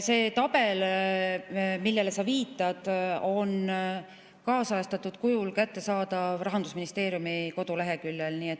See tabel, millele sa viitad, on kaasajastatud kujul kättesaadav Rahandusministeeriumi koduleheküljel.